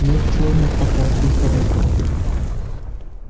нет черных пока что и хорошо